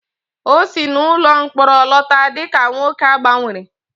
O si n'ụlọ mkpọrọ lọta dị ka nwoke a gbanwere